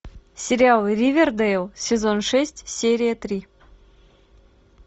сериал ривердейл сезон шесть серия три